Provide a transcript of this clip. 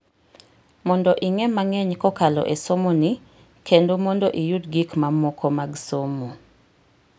Mondo ing'e mang'eny kokalo esomoni, kendo mondo iyud gik mamoko mag somo.